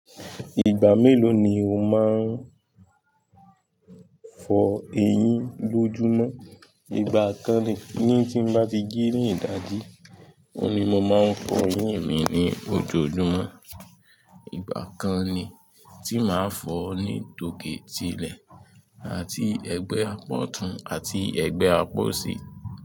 Ìgbà mélòó ni o máa ń fọ eyín lójúmọ́? Ìgbà kan ni tí n bá ti jí ní ìdájí, òun ni mo máa ń fọ eyín mi ní ojoojúmọ́. Ìgbà kan ni tí màá fọ ní tòkè ti ilẹ̀ àti ẹgbẹ́ àpa ọ̀tún àti ẹgbẹ́ àpa oṣi.